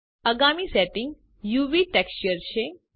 આગામી setting UV texture છે